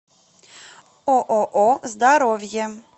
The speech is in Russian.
ооо здоровье